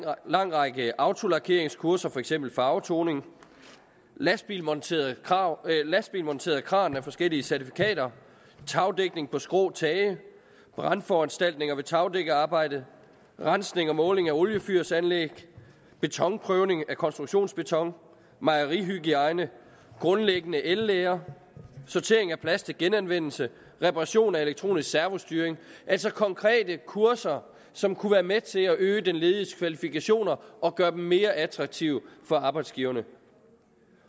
lang række autolakeringskurser for eksempel farvetoning lasbilmonteret kran lasbilmonteret kran med forskellige certifikater tagdækning på skrå tage brandforanstaltninger ved tagdækkerarbejde rensning og måling af oliefyrsanlæg betonprøvning af konstruktionsbeton mejerihygiejne grundlæggende el lære sortering af plast til genanvendelse reparation af elektronisk servostyring det altså konkrete kurser som kunne være med til at øge de lediges kvalifikationer og gøre dem mere attraktive for arbejdsgiverne